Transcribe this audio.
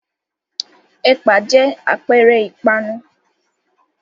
Ẹ̀pà jẹ́ àpẹẹrẹ ìpanu.